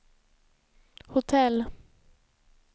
hotell